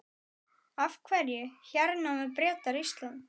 Af hverju hernámu Bretar Ísland?